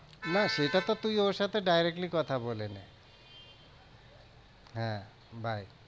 না, সেটাতো তুই ওর সাথে directly কথা বলে নে হ্যাঁ bye